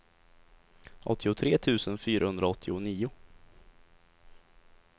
åttiotre tusen fyrahundraåttionio